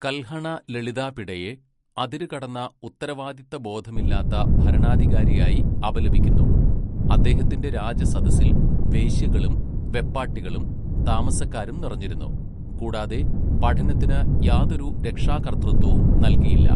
കൽഹണ ലളിതാപിഡയെ അതിരുകടന്ന ഉത്തരവാദിത്തബോധമില്ലാത്ത ഭരണാധികാരിയായി അപലപിക്കുന്നു, അദ്ദേഹത്തിന്റെ രാജസദസ്സിൽ വേശ്യകളും വെപ്പാട്ടികളും താമസക്കാരും നിറഞ്ഞിരുന്നു, കൂടാതെ പഠനത്തിന് യാതൊരു രക്ഷാകർതൃത്വവും നൽകിയില്ല.